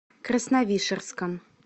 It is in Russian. красновишерском